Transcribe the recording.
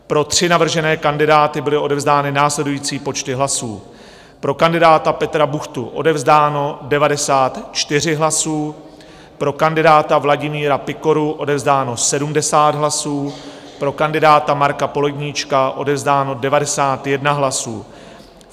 Pro tři navržené kandidáty byly odevzdány následující počty hlasů: pro kandidáta Petra Buchtu odevzdáno 94 hlasů, pro kandidáta Vladimíra Pikoru odevzdáno 70 hlasů, pro kandidáta Marka Poledníčka odevzdáno 91 hlasů.